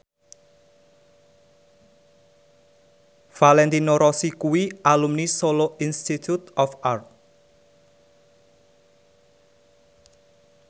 Valentino Rossi kuwi alumni Solo Institute of Art